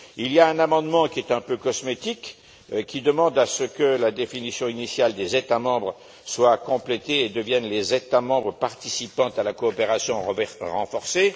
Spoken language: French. Il y a un amendement qui est un peu cosmétique, qui demande à ce que la définition initiale des États membres soit complétée et devienne les États membres participant à la coopération renforcée.